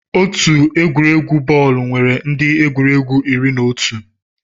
Otu egwuregwu bọọlụ nwere ndị egwuregwu iri na otu.